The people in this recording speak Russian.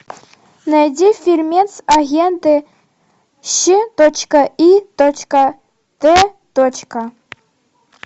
найди фильмец агенты щ точка и точка т точка